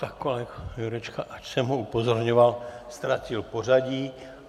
Tak kolega Jurečka, ač jsem ho upozorňoval, ztratil pořadí.